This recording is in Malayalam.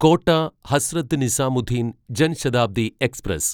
കോട്ട ഹസ്രത്ത് നിസാമുദ്ദീൻ ജൻ ശതാബ്ദി എക്സ്പ്രസ്